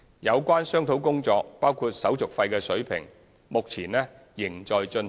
有關商討工作，包括手續費的水平，目前仍在進行。